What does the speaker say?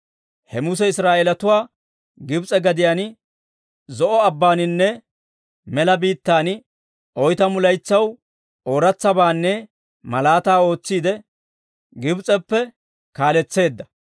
He Muse Israa'eelatuwaa Gibs'e gadiyaan Zo'o Abbaaninne mela biittaan, oytamu laytsaw ooratsabaanne malaataa ootsiide, Gibs'eppe kaaletseedda.